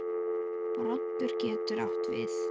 Broddur getur átt við